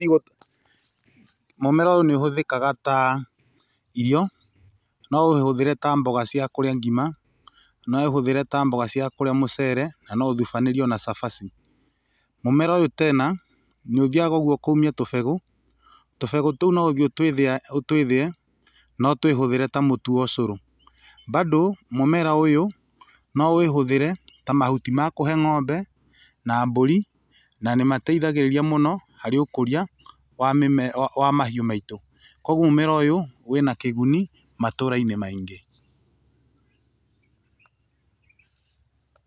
Mũmera ũyũ nĩũhũthĩkaga ta irio; no ũũhũthĩre ta mboga cia kũrĩa ngima, no ũũhũthĩre ta mboga cia kũrĩa mucere na no ũthubanĩrio na cabaci. Mũmera ũyũ tena nĩũthiaga ũguo ũkauma tũbegũ. Tũbegũ tũu no ũthiĩ ũtũthĩe, na ũtũhũthĩre ta mũtu wa ũcũrũ. Bado, mũmera ũyũ no ũũhũthĩre ta mahuti ma kũhe ng'ombe na mbũri, na nĩ mateithagĩrĩria mũno harĩ ũkũria wa mahiũ maitũ. Kogwo mũmera ũyũ wĩna kĩguni matũra-inĩ maingĩ.